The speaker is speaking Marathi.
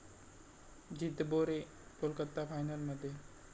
जितबो रे', कोलकाता फायनलमध्ये